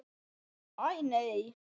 Æ, nei.